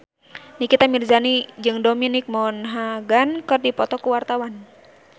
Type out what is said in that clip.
Nikita Mirzani jeung Dominic Monaghan keur dipoto ku wartawan